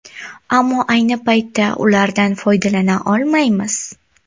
Ammo ayni paytda ulardan foydalana olmaymiz.